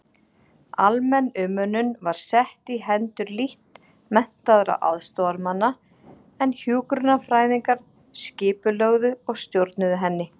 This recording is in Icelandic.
Almenn umönnun var sett í hendur lítt menntaðra aðstoðarmanna en hjúkrunarfræðingar skipulögðu og stjórnuðu henni.